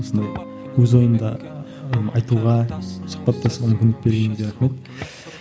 осындай өз ойымды айтуға сұхбаттасуға мүмкіндік бергеніңізге рахмет